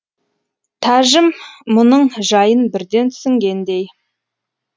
тәжім мұның жайын бірден түсінгендей